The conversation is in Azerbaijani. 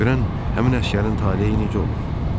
Görən həmin əsgərin taleyi necə olub?